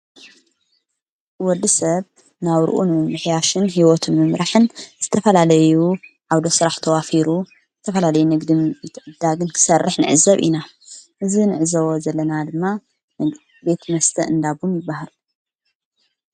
ወዲ ሰብ ናው ርኡን ምሕያሽን ሕይወቱ ምምራሕን ዝተፈላለዩ ኣውደሥራሕ ተዋፊሩ ዝተፈላለይ ነግድም ይትዕዳግን ክሠርሕ ንዕ ዘብ ኢና እዝ ንዕዘዎ ዘለና ድማ ነግ ቤት መስተ እንዳቡን ይበሃል።